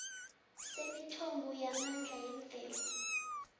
semithombo yamandla yemvelo